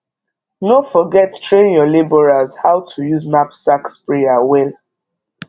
no forget train your labourers how to use knapsack sprayer well